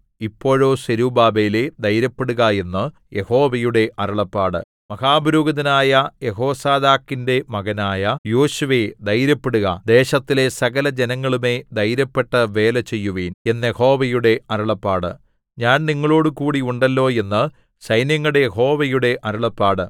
ഇപ്പോഴോ സെരുബ്ബാബേലേ ധൈര്യപ്പെടുക എന്ന് യഹോവയുടെ അരുളപ്പാട് മഹാപുരോഹിതനായ യെഹോസാദാക്കിന്റെ മകനായ യോശുവേ ധൈര്യപ്പെടുക ദേശത്തിലെ സകലജനങ്ങളുമേ ധൈര്യപ്പെട്ട് വേല ചെയ്യുവിൻ എന്ന് യഹോവയുടെ അരുളപ്പാട് ഞാൻ നിങ്ങളോടുകൂടി ഉണ്ടല്ലോ എന്ന് സൈന്യങ്ങളുടെ യഹോവയുടെ അരുളപ്പാട്